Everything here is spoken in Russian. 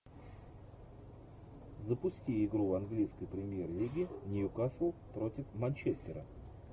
запусти игру английской премьер лиги ньюкасл против манчестера